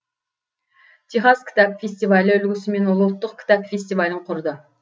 техас кітап фестивалі үлгісімен ол ұлттық кітап фестивалін құрды